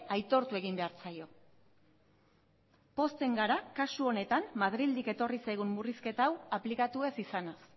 aitortu egin behar zaio pozten gara kasu honetan madrildik etorri zaigun murrizketa hau aplikatu ez izanaz